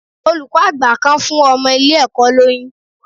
Olùkọ́ àgbà kan fún ọmọ ilé ẹ̀kọ́ lóyún.